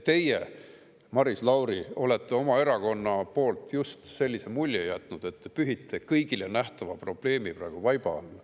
Teie, Maris Lauri, olete oma erakonna just sellise mulje jätnud, et pühite kõigile nähtava probleemi praegu vaiba alla.